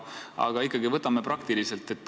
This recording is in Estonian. Aga ikkagi võtame praktiliselt.